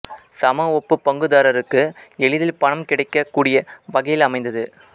சம ஒப்பு பங்குதாரருக்கு எளிதில் பணம் கிடைக்கக் கூடிய வகையில் அமைந்தது